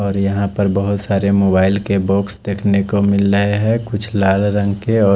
और यहाँ पर बहुत सारे मोबाईल के बॉक्स देखने को मिल रहे है कुछ लाल रंग के और--